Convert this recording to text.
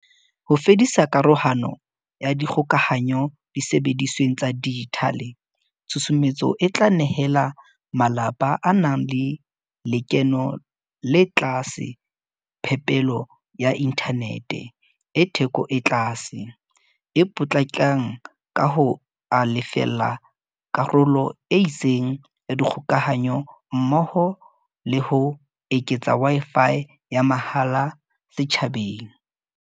Ho fedisa karohano ya dikgokahanyo disebedisweng tsa dijithale, tshusumetso e tla nehela malapa a nang le lekeno le tlase phepelo ya inthanete e theko e tlase, e potlakang ka ho a lefella karolo e itseng ya dikgokahanyo mmoho le ho eketsa Wi-Fi ya mahala setjhabeng.